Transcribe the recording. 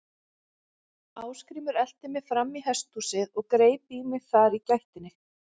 Ásgrímur elti mig fram í hesthúsið og greip í mig þar í gættinni.